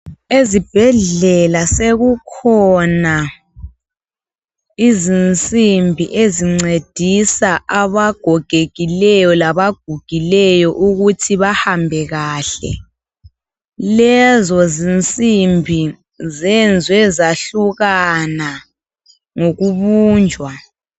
Ezibhedlela sekukhona izinsimbi ezincesisa abantu abagogekileyo labagugileyo ukuthi bahambe kahle. Lezozinsimbi zenzwe zahlukana ngokubunjwa.